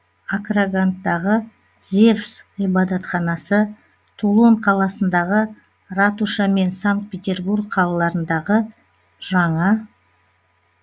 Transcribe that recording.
акраганттағы зевс ғибадатханасы тулон қаласындағы ратуша мен санкт петербург қалаларындағы жаңа